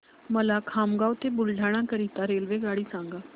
मला खामगाव ते बुलढाणा करीता रेल्वेगाडी सांगा